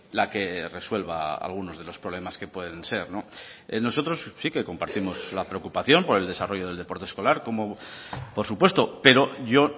la que resuelva algunos de los problemas que pueden ser nosotros sí que compartimos la preocupación por el desarrollo del deporte escolar como por supuesto pero yo